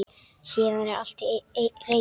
Síðan er allt til reiðu.